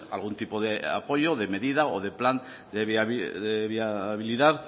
algún tipo de apoyo o de medida o de plan de viabilidad